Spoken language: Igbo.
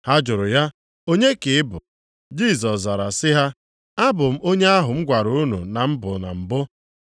Ha jụrụ ya, “Onye ka ị bụ?” Jisọs zara sị ha, “Abụ m onye ahụ m gwara unu na m bụ na mbụ.